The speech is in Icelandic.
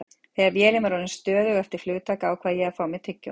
Þegar vélin var orðin stöðug eftir flugtak ákvað ég að fá mér tyggjó.